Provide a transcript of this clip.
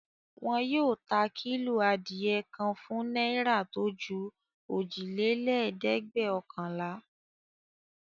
Wọn yóò ta kílò adìẹ kan fún náírà tó ju òjìlélẹ́ẹ̀dẹ́gbẹ́ọ̀kànlá.